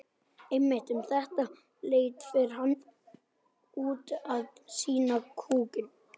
Einmitt um þetta leyti fer hann út að sinna kúnum.